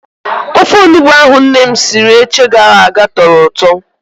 Ofe onugbo ahụ nne m siri eche gara aga tọrọ ụtọ.